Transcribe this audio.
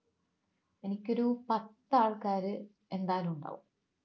എനിക്കൊരു പത്ത് ആൾക്കാര് എന്തായാലും ഉണ്ടാവും